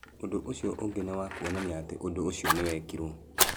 Ũndũ ũcio ningĩ nĩ wa kuonania atĩ ũndũ ũcio nĩ wekirũo.